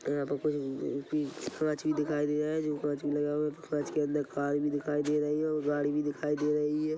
यहाँ पर कुछ कांच भी दिखाई दे रहा है जो काच लगा हुआ है कांच के अन्दर कार भी दिखाई दे रही हैऔर गाड़ी भी दिखाई दे रही है।